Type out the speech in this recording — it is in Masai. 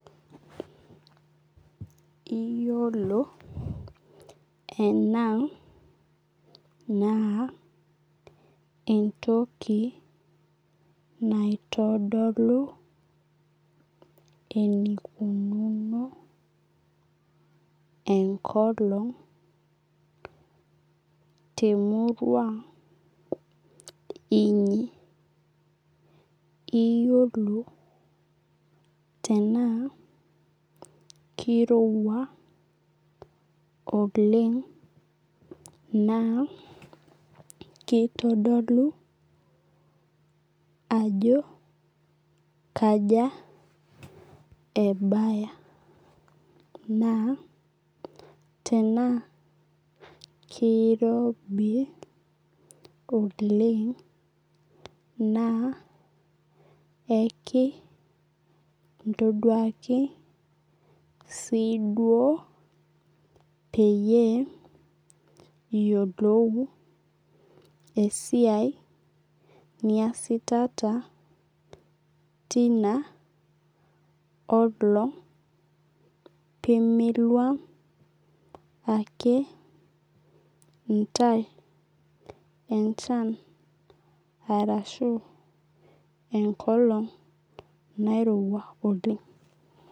Iyolo ena naa entoki naitodolu enikununo enkolong temurua inyi iyolo tenaa kirowua oleng naa kitodolu ajo kaja ebaya na tenaa kirobi oleng na ekintoduaki si duo peyie iyolou esiai niasitata tina olong pemiluam ake ntae enchan arashu enkolong nairowua oleng.